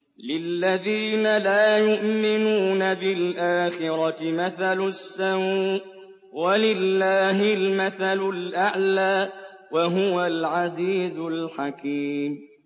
لِلَّذِينَ لَا يُؤْمِنُونَ بِالْآخِرَةِ مَثَلُ السَّوْءِ ۖ وَلِلَّهِ الْمَثَلُ الْأَعْلَىٰ ۚ وَهُوَ الْعَزِيزُ الْحَكِيمُ